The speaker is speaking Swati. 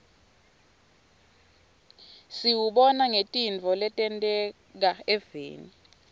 siwubona ngetintfo letenteka eveni